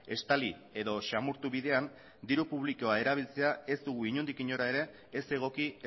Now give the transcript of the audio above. estali edo samurtu bidean diru publikoa erabiltzea ez dugu inondik nora ere ez egoki